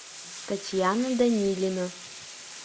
татьяна данилина